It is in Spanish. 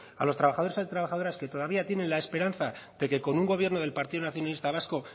a los trabajadores y trabajadoras que todavía tienen la esperanza de que con un gobierno del partido nacionalista vasco